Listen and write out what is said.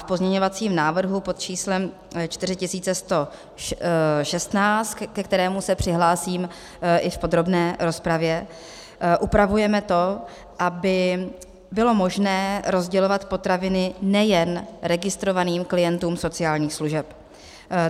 V pozměňovacím návrhu pod číslem 4116, ke kterému se přihlásím i v podrobné rozpravě, upravujeme to, aby bylo možné rozdělovat potraviny nejen registrovaným klientům sociálních služeb.